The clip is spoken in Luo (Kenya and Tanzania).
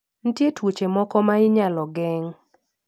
Nitie tuoche moko ma inyalo geng.